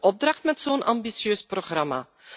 opdracht met zo'n ambitieus programma.